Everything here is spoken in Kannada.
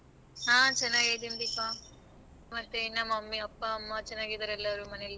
ಹ ಚೆನ್ನಾಗಿದಿನಿ ದೀಪಾ. ಮತ್ತೆ ನಮ್ mummy ಅಪ್ಪ ಅಮ್ಮ ಎಲ್ಲ ಚೆನ್ನಾಗಿದರ ಮನೆಯಲ್ಲಿ.